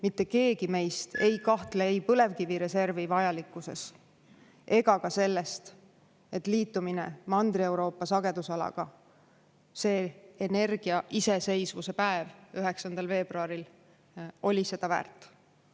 mitte keegi meist ei kahtle ei põlevkivireservi vajalikkuses ega ka selles, et liitumine Mandri-Euroopa sagedusalaga, see energiaiseseisvuse päev 9. veebruaril oli seda väärt.